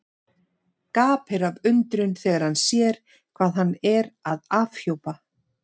Gapir af undrun þegar hann sér hvað hann er að afhjúpa.